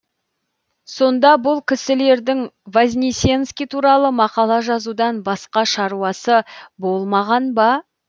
сонда бұл кісілердің вознесенский туралы мақала жазудан басқа шаруасы болмаған ба